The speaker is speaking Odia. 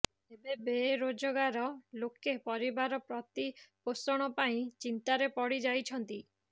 ଏବେ ବେରୋଜଗାର ଲୋକେ ପରିବାର ପ୍ରତିପୋଷଣ ପାଇଁ ଚିନ୍ତାରେ ପଡି ଯାଇଛନ୍ତି